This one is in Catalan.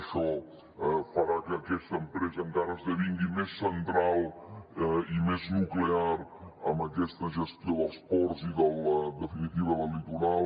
això farà que aquesta empresa encara esdevingui més central i més nuclear en aquesta gestió dels ports i en definitiva del litoral